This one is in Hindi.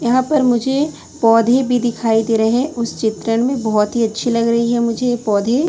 यहां पर मुझे पौधे भी दिखाई दे रे है उस चित्रण में बहोत ही अच्छी लग रही है मुझे ये पौधे--